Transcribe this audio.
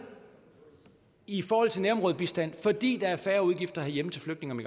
i forhold til nærområdebistand fordi der er færre udgifter herhjemme til flygtninge